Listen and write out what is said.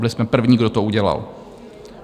Byli jsme první, kdo to udělal.